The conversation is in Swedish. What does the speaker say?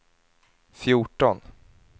fjorton